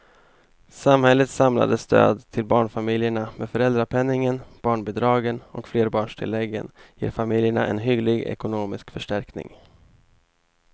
Samhällets samlade stöd till barnfamiljerna med föräldrapenningen, barnbidragen och flerbarnstilläggen ger familjerna en hygglig ekonomisk förstärkning.